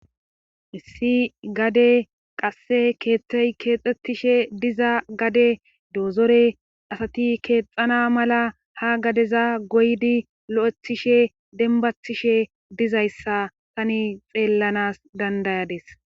Issi gade qasse keethtey keexxettishe diza gade doozore asati keexxana mala ha gadeza goydi lo7ethishe denbathishe dizayssa tani xeellanas dandayades